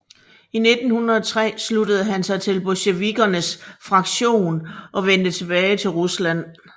I 1903 sluttede han sig til bolsjevikkernes fraktion og vendte tilbage til Rusland